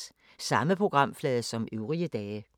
Samme programflade som øvrige dage